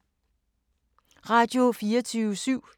Radio24syv